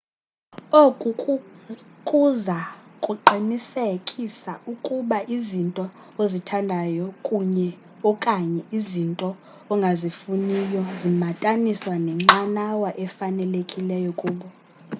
oku kuza kuqinisekisa ukuba izinto ozithandayo kunye/okanye izinto ongazifuniyo zimataniswa nenqanawa efanelekileyo kubo